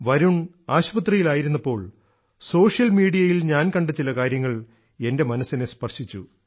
വരുൺ ആശുപത്രിയിൽ ആയിരുന്നപ്പോൾ സോഷ്യൽ മീഡിയയിൽ ഞാൻ കണ്ട ചില കാര്യങ്ങൾ എൻറെ മനസ്സിനെ സ്പർശിച്ചു